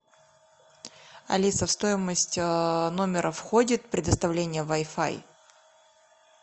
алиса в стоимость номера входит предоставление вай фай